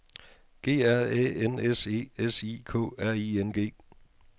G R Æ N S E S I K R I N G